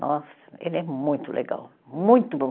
Nossa, ele é muito legal, muito bom.